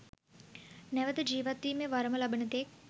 නැවත ජීවත්වීමේ වරම ලබන තෙක්